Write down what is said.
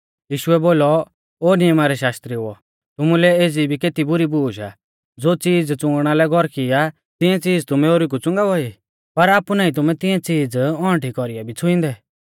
यीशुऐ बोलौ ओ नियमा रै शास्त्रिउओ तुमुलै एज़ी भी केती बुरी बूश आ ज़ो च़ीज़ च़ुंगणा लै गौरकी आ तिऐं च़ीज़ तुमै ओरी कु च़ुंगावा ई पर आपु नाईं तुमै तिऐं च़ीज़ औंउठी कौरीऐ भी छ़ुईंदै